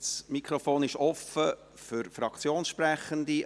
Das Mikrofon ist offen für Fraktionssprechende.